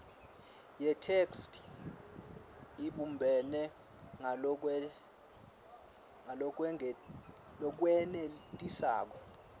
yetheksthi ibumbene ngalokwenetisako